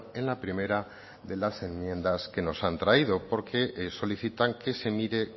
en la primera de las enmiendas que nos han traído porque solicitan que se mire